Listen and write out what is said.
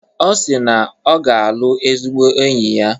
Ọ si na ọ ga-alụ ezigbo enyi ya.